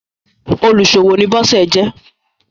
oluṣowo ni Bose jé.